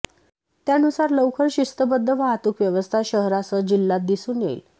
त्यानुसार लवकर शिस्तबद्ध वाहतूक व्यवस्था शहरासह जिल्ह्यात दिसून येईल